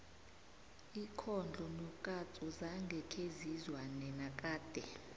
ikhondlo nokatsu zange khezizwane nakade